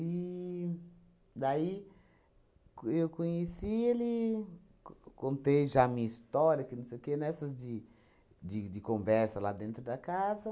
daí, co eu conheci ele, co contei já a minha história, que não sei o quê, nessas de de de conversa lá dentro da casa.